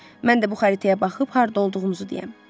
Mən də bu xəritəyə baxıb harda olduğumuzu deyəm.